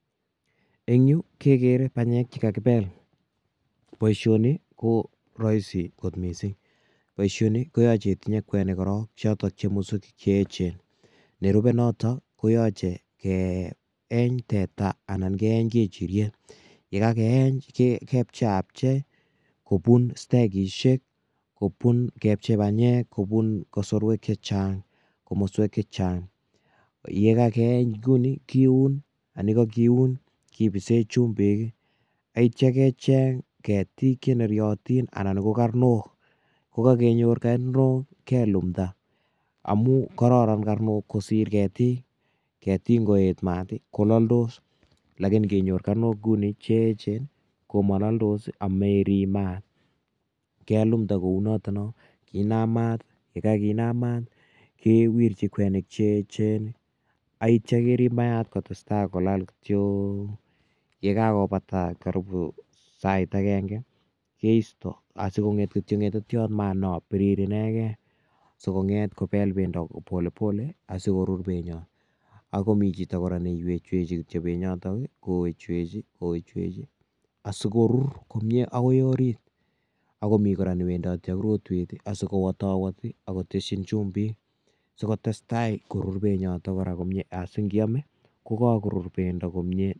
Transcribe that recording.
En yuh kegere banyek chekakibeel, boishoni koroisi kot missing, boishoni koyoche itinye kwenik koron choton ko musugiik Che echen. Nerube nootok koyoche keyeny tetaa ana keeny kechiriet yekaakeeny kepcheiapchei, kobun stakisiek kobun kosorwek chechang, komoswek chechang ,ye kakeeny kouni kiun, ye kakiun kibisen chumbiik ak yeityoo kecheng keetik cheneryootin. Anan ko karnook, yekakenyor karnook kelimdaa amun kororon karnook kosiir keetik. Keetik ingoyeet mat kololdos, lakini ingenyor karnok inguni cheechen komololdos amerib maat. Kelimdee kounotok noo, kinam maat, kewirchii kwenik cheechen ak yeityo kerib maatok kolal kityok. Ye kakobataa sait agenge keistoo asikongeet ngetetiot maat nobiriir inegen. Sokonget kobel bendo ko polepole asikorur Benton, ak komi chito kora newechweche benyotok I kowechwechii asikoruur kora komie akoi orit. Ako mi kora newendooti ak rotwet asikowatowatii akotesyiin chumbiik sikotestai korur benyotok komie asingiome kokakorur bendo komie